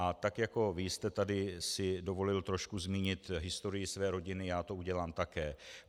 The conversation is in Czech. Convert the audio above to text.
A tak jako vy jste si tady dovolil trošku zmínit historii své rodiny, já to udělám také.